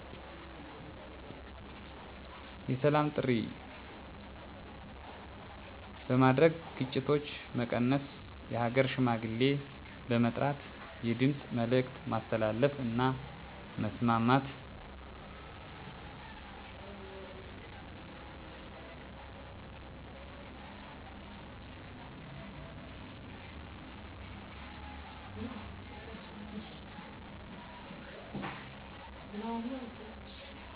የሰላም ጥሪ በማድረግ ግጭቶች መቀነስ የሃገር ሽማግሌ በመጥራት የድምፅ መልዕክት ማስተላለፍ እና ማስማማት